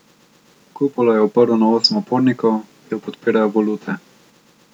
Kupolo je oprl na osem opornikov, ki jih podpirajo volute.